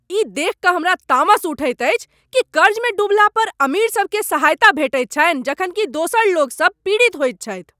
ई देखि कऽ हमरा तामस उठैत अछि कि कर्जमे डुबला पर अमीरसभकेँ सहायता भेटैत छनि जखन कि दोसरलोकसभ पीड़ित होइत छथि।